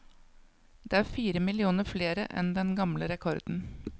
Det er fire millioner flere enn den gamle rekorden.